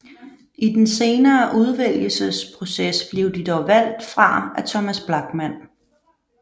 I den senere udvælgelsesproces blev de dog valgt fra af Thomas Blachman